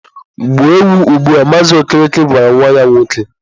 Gbuo ewu ugbua! Mazị Okereke gwara nwa ya nwoke.